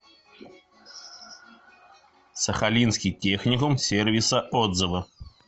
сахалинский техникум сервиса отзывы